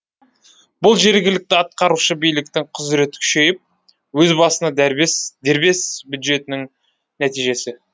бұл жергілікті атқарушы биліктің құзыреті күшейіп өз басына дәрбес дербес бюджетінің нәтижесі